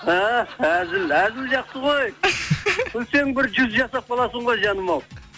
ііі әзіл әзіл жақсы ғой күлсең бір жүз жасап қаласың ғой жаным ау